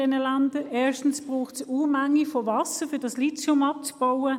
Erstens braucht es Unmengen von Wasser, um das Lithium abzubauen.